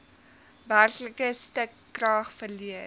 werklike stukrag verleen